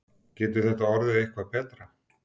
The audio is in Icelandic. Getur þetta orðið eitthvað betra?